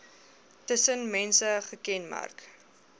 tussen mense gekenmerk